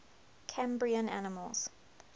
cambrian animals